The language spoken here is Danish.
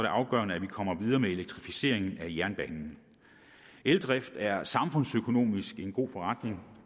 afgørende at vi kommer videre med elektrificeringen af jernbanen eldrift er samfundsøkonomisk en god forretning